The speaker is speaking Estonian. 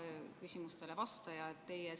Hea küsimustele vastaja!